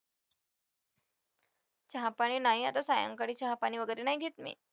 चहा-पाणी नाही आता सायंकाळी चहा-पाणी वगैरे नाही घेत मी.